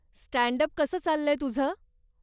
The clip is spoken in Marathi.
स्टँड अप कसं चाललंय तुझं?